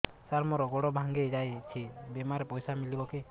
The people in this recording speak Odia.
ସାର ମର ଗୋଡ ଭଙ୍ଗି ଯାଇ ଛି ବିମାରେ ପଇସା ମିଳିବ କି